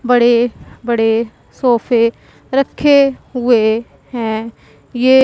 बड़े बड़े सोफे रखे हुए हैं ये--